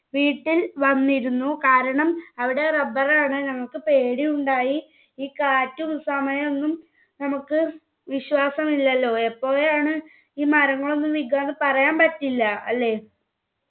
വീട്ടിൽ വന്നിരുന്നു കാരണം അവിടെ rubber നടാൻ ഞങ്ങക്ക് പേടിയുണ്ടായി. ഈ കാറ്റും സമയൊന്നും നമ്മുക്ക് വിശ്വാസമില്ലല്ലോ എപ്പോഴാണ് ഈ മരങ്ങളൊന്നും വിക്കാന്ന് പറയാൻ പറ്റില്ല അല്ലെ